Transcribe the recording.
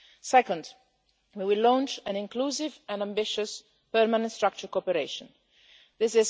Second, we will launch an inclusive and ambitious permanent structure cooperation This